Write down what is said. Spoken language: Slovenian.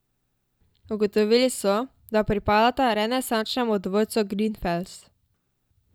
Ugotovili so, da pripadata renesančnemu dvorcu Grinfels.